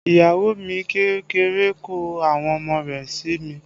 Iyawo mi kékeré kọ́ àwọn ọmọ rẹ̀ sí mi